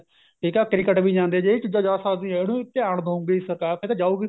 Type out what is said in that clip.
ਠੀਕ ਏ cricket ਵੀ ਜਾਂਦਾ ਜੇ ਚੀਜ਼ਾਂ ਜਾ ਸਕਦੀ ਉਹਨੂੰ ਵੀ ਧਿਆਨ ਦਉਗੀ ਸਰਕਾਰ ਇਹ ਤਾਂ ਜਾਉਗੀ